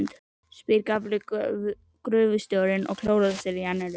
spyr gamli gröfustjórinn og klórar sér á enninu.